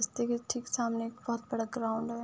रस्ते के ठीक सामने एक बोहोत बड़ा ग्राउंड है।